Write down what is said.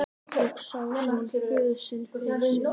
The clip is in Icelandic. Og þá sá hann föður sinn fyrir sér.